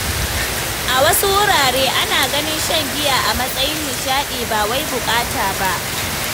A wasu wurare, ana ganin shan giya a matsayin nishaɗi ba wai buƙata ba.